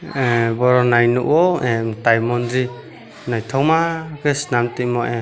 am boro nai nogo a tai mondir naitoma ke solamn tuimo.